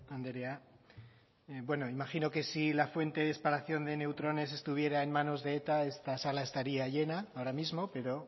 tejeria anderea imagino que si la fuente de espalación de neutrones estuviera en manos de eta esta sala estaría llena ahora mismo pero